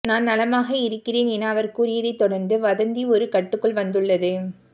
நான் நலமாக இருக்கிறேன் என அவர் கூறியதைத் தொடர்ந்து வதந்தி ஒரு கட்டுக்குள் வந்துள்ளது